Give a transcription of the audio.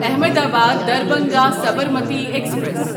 Ahmedabad Darbhanga Sabarmati express